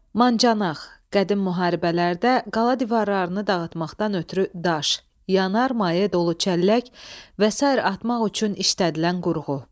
Mancanaq – qədim müharibələrdə qala divarlarını dağıtmaqdan ötrü daş, yanar maye dolu çəllək və sair atmaq üçün işlədilən qurğu.